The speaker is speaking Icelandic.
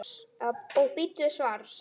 Og bíddu svars.